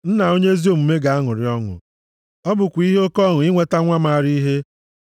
Nna onye ezi omume ga-aṅụrị ọṅụ. Ọ bụkwa ihe oke ọṅụ inweta nwa maara ihe.